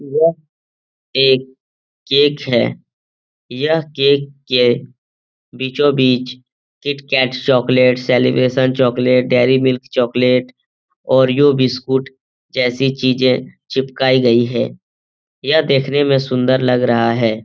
यह एक केक है यह केक के बीचों बीच KitKat chocolate celebration chocolate Dairy Milk chocolate Oreo biscuit जैसी चीजें चिपकाई गई हैं यह देखने मे सुंदर लग रहा है।